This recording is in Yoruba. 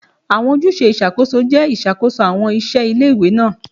Awọn ojuse iṣakoso jẹ ṣiṣakoso awọn iṣẹ ile-iwe naa